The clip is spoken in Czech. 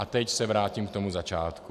A teď se vrátím k tomu začátku.